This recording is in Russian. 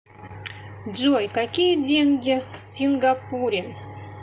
джой какие деньги в сингапуре